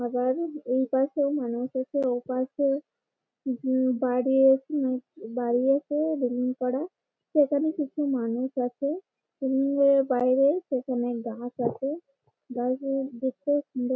আবার এইপাশে মানুষ আছে ওপাশে কিছু বাড়ি বাড়ি আছে রেলিং করা সেখানে কিছু মানুষ আছে ।রেলিং এর বাইরে গাছ আছে। গাছগুলো দেখতেও সুন্দর ।